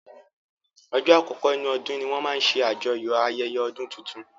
Ọjọ́ àkọkọ́ nínú ọdún ní wọ́n máa n ṣe ṣàjọyọ̀ ayẹyẹ ọdún tuntun